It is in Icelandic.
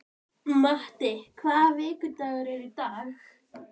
Matti, hvaða vikudagur er í dag?